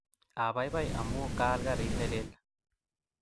Apaipai amun kaal karit ne lel